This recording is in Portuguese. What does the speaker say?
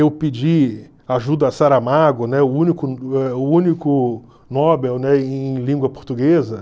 Eu pedi ajuda a Saramago, né, o único eh o único Nobel, né, em língua portuguesa.